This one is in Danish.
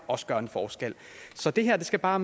også gør en forskel så det her skal bare